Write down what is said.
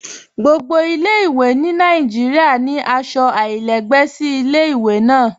Gbogbo ilẹ̀-èdá ni Nàìjíríà ni aṣọ alailẹgbẹ sí ilẹ̀-èdá náà.